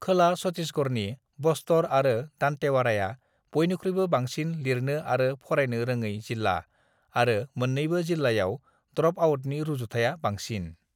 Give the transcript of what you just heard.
खोला छत्तीसगढ़नि बस्तर आरो दंतेवाड़ाया बयनिख्रुइबो बांसिन लिरनो आरो फरायनो रोङै जिल्ला आरो मोननैबो जिल्लायाव ड्रपआउटनि रुजुथाया बांसिन।